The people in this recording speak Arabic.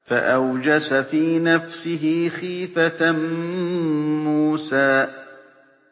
فَأَوْجَسَ فِي نَفْسِهِ خِيفَةً مُّوسَىٰ